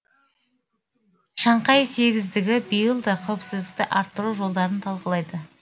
шанхай сегіздігі биыл да қауіпсіздікті арттыру жолдарын талқылайды